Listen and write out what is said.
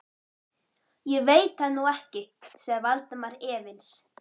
Ég veit það nú ekki sagði Valdimar efins.